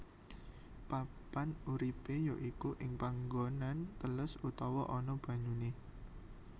Papan uripé ya iku ing panggonan teles utawa ana banyuné